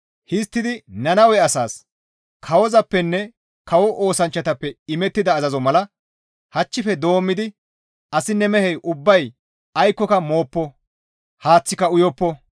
Histtidi Nannawe asaas, «Kawozappenne kawo oosanchchatappe imettida azazo mala hachchife doommidi asinne mehey ubbay aykkoka mooppo; haaththika uyoppo.